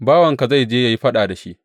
Bawanka zai je yă yi faɗa da shi.